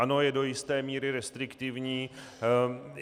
Ano, je do jisté míry restriktivní.